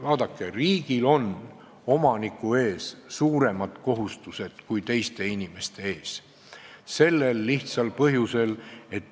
Vaadake, riigil on omaniku ees suuremad kohustused kui teiste inimeste ees.